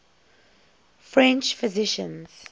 french physicians